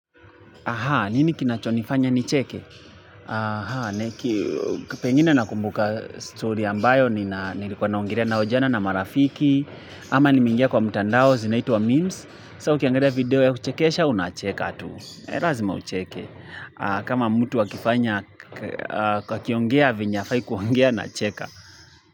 Aha, nini kinachonifanya nicheke? Aha, niki, pengine nakumbuka story ambayo, nilikuwa naongolea nao jana na marafiki, ama nimeingia kwa mtandao zinaitwa memes, so ukiangalia video ya kuchekesha, unacheka tu. Lazima ucheke. Kama mtu akifanya akiongea, venye hafai kuongea, nacheka.